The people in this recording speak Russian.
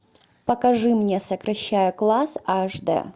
покажи мне сокращая класс аш дэ